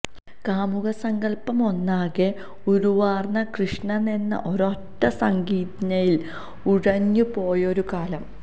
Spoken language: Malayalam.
കാമുക സങ്കല്പമൊന്നാകെ ഉരുവാർന്ന് കൃഷ്ണനെന്ന ഒരൊറ്റ സംജ്ഞയിൽ ഉറഞ്ഞു പോയൊരു കാലം